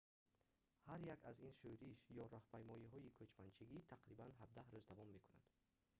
ҳар як аз ин шӯриш ё раҳпаймоиҳои кӯчманчигӣ тақрибан 17 рӯз давом мекунад